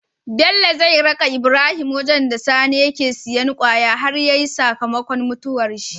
Bello zai raka Ibrahim wajan da sani yake siyan kwaya har yayi saka makon mutuwar shi